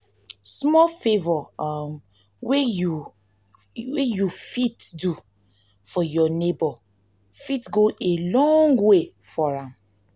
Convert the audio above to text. small favor um wey yu um n wey yu fit do for yur neibor fit go a long way for am